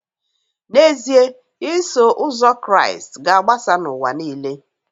N’ezie, Iso Ụzọ Kraịst ga-agbasa n’ụwa nile